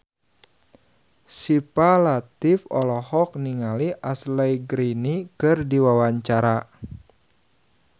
Syifa Latief olohok ningali Ashley Greene keur diwawancara